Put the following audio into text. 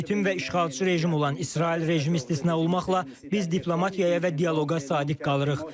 Qeyri-legitim və işğalçı rejim olan İsrail rejimi istisna olmaqla biz diplomatiyaya və dialoqa sadiq qalırıq.